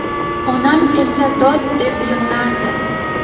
Onam esa dod deb yig‘lardi.